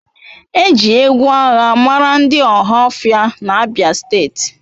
E ji egwu agha mara ndị Ohaofia na abia steeti.